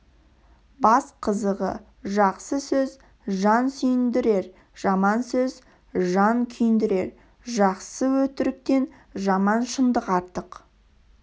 бас қазығы жақсы сөз жан сүйіндірер жаман сөз жан күйіндірер жақсы өтіріктен жаман шындық артық